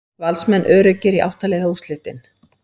Valsmenn öruggir í átta liða úrslitin